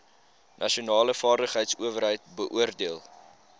nasionale vaardigheidsowerheid beoordeel